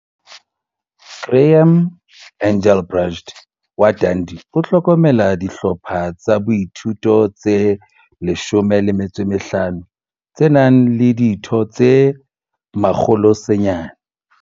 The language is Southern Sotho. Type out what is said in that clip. Graeme Engelbrecht wa Dundee o hlokomela dihlopha tsa boithuto tse 15, tse nang le ditho tse 900.